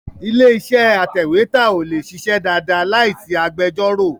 Ilé-iṣẹ́ atẹ̀wétà ò lè ṣiṣẹ́ dáadáa láì sí agbẹjọ́rò.